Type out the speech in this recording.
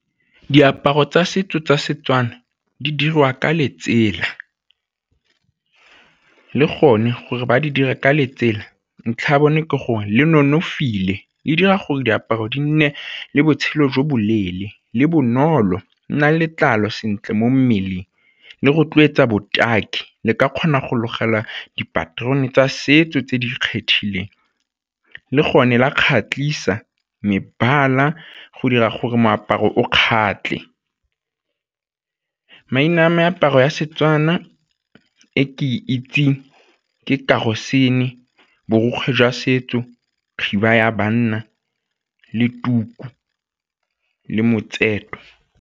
Diaparo tsa setso tsa Setswana di dirwa ka letsela, le gone gore ba di dira ka letsela ntlha ya bone ke gore le nonofile le dira gore diaparo di nne le botshelo jo boleele le bonolo nna letlalo sentle mo mmeleng, le rotloetsa botaki le ka kgona go logela dipaterone tsa setso tse di kgethegileng le gone la kgatlhisa mebala go dira gore moaparo o kgatlhe. Maina a meaparo ya Setswana e ke itseng ke , borokgwe jwa setso, khiba ya banna le tuku le .